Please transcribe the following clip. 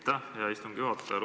Aitäh, hea istungi juhataja!